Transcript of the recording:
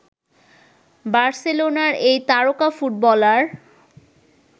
বার্সেলোনার এই তারকা ফুটবলার